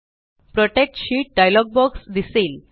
protect sheet dialog box दिसेल